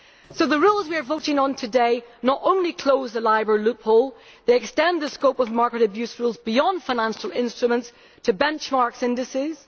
So the rules we are voting on today not only close the LIBOR loophole, but also extend the scope of market abuse rules beyond financial instruments to benchmarks and indices.